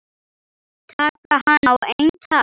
Taka hann á eintal.